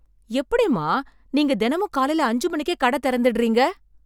எப்படிம்மா நீங்க தெனமும் காலைல அஞ்சு மணிக்கே கட திறந்துடறீங்க?